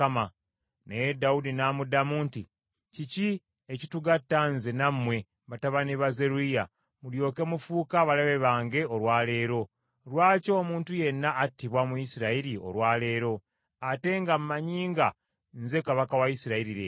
Naye Dawudi n’amuddamu nti, “Kiki ekitugatta nze nammwe batabani ba Zeruyiya, mulyoke mufuuke abalabe bange olwa leero? Lwaki omuntu yenna attibwa mu Isirayiri olwa leero, ate nga mmanyi nga nze kabaka wa Isirayiri leero?”